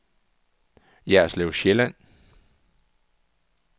Jerslev Sjælland